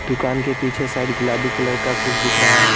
दुकान के पीछे साइड गुलाबी कलर का कुछ दिख रहा है।